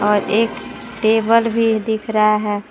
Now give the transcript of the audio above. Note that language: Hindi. और एक टेबल भी दिख रहा है।